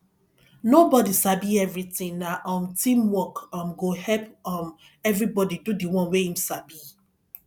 nobodi sabi everytin na um teamwork um go make um everybodi do di one wey im sabi